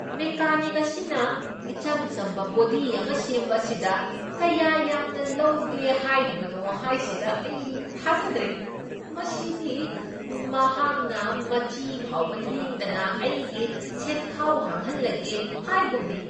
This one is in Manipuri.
ꯃꯦꯀꯥꯅꯤꯛ ꯑꯁꯤꯅ ꯏꯆꯝ ꯆꯝꯕ ꯕꯣꯗꯤ ꯑꯃ ꯁꯦꯝꯕ ꯑꯁꯤꯗ ꯀꯌꯥ ꯌꯥꯝꯅ ꯂꯧꯒꯦ ꯍꯥꯏꯔꯤꯕꯅꯣ ꯍꯥꯏꯁꯤꯗ ꯑꯩ ꯊꯥꯖꯗ꯭ꯔꯦ! ꯃꯁꯤꯗꯤ ꯃꯍꯥꯛꯅ ꯃꯆꯤ ꯐꯥꯎꯕ ꯂꯦꯡꯗꯅ ꯑꯩꯒꯤ ꯁꯦꯟꯈꯥꯎ ꯍꯥꯡꯍꯜꯂꯒꯦ ꯍꯥꯏꯒꯨꯝꯅꯤ!